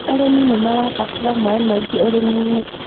arĩmi nĩ marabatara maĩ maingĩ ũrĩmi inĩ